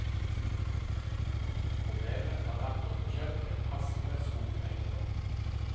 Problemet har vært å få kjøpt en passende skogeiendom.